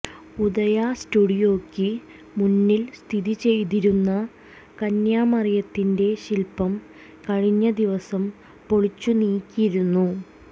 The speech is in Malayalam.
ഉദയാ സ്റ്റുഡിയോയ്ക്ക് മുന്നിൽ സ്ഥിതി ചെയ്തിരുന്ന കന്യാമറിയത്തിന്റെ ശില്പം കഴിഞ്ഞദിവസം പൊളിച്ചു നീക്കിയിരുന്നു